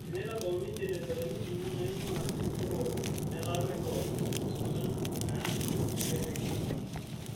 Teneitabauni generetani ong'uan naing'uaa Tororo nataa megawatts ong'uan naa kepiki ine